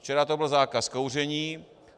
Včera to byl zákaz kouření.